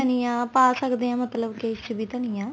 ਧੰਨੀਆ ਪਾ ਸਕਦੇ ਆ ਮਤਲਬ ਕੀ ਇਸ ਚ ਵੀ ਧੰਨੀਆ